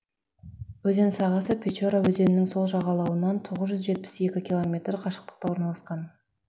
өзен сағасы печора өзенінің сол жағалауынан тоғыз жүз жетпіс екі километр қашықтықта орналасқан